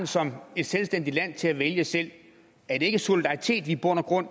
som et selvstændigt land retten til at vælge selv er det ikke solidaritet i bund og grund at